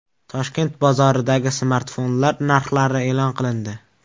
Toshkent bozoridagi smartfonlar narxlari e’lon qilindi.